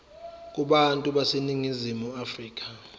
kubantu baseningizimu afrika